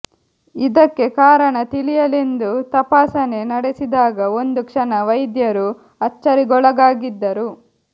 ಇದಕ್ಕೆ ಕಾರಣ ತಿಳಿಯಲೆಂದು ತಪಾಸಣೆ ನಡೆಸಿದಾಗ ಒಂದು ಕ್ಷಣ ವೈದ್ಯರೂ ಅಚ್ಚರಿಗೊಳಗಾಗಿದ್ದರು